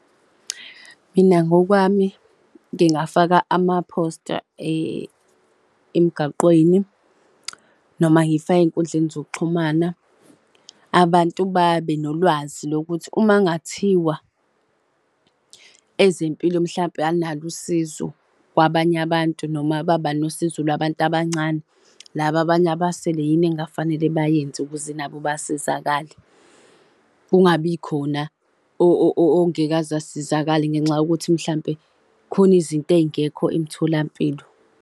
Mina ngokwami ngingafaka amaphosta emgaqweni noma ngifake ey'nkundleni zokuxhumana, abantu babe nolwazi lokuthi uma kungathiwa ezempilo, mhlawumpe alunalo usizo kwabanye abantu noma baba nosizo lwabantu abancane laba abanye abasele yini ekungafanele bayenze ukuze nabo basizakale. Kungabikhona ongeke aze asizakale ngenxa yokuthi mhlampe kukhona izinto ezingekho emtholampilo.